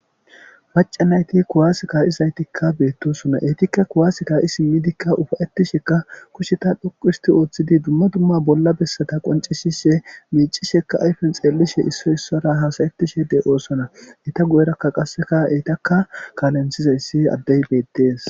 maca nayti kuwaasika iszaytikka beettosona eetikka kuwaasika isimidikka ufayettisheka kusheta dhoqisti ooththidi dumma dumma bolla bessata qoncishishe miicisheka ayfen xeellishe issoy issora haasayettishe de oosona ita gu7erakka qasseka eytakka kaalenthizayssi addey beettees